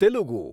Telugu